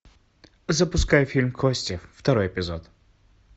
запускай фильм кости второй эпизод